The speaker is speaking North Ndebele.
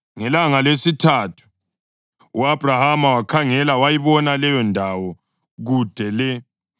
Ngelanga lesithathu u-Abhrahama wakhangela, wayibona leyondawo kude le.